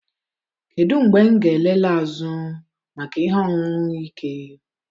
Kedu mgbe m ga-elele azụ maka ihe ọṅụṅụ ike?